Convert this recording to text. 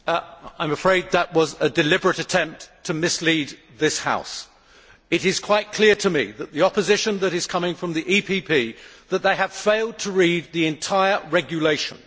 Madam President, I am afraid that was a deliberate attempt to mislead this House. It is quite clear to me from the opposition that is coming from the EPP Group, that they have failed to read the entire regulation.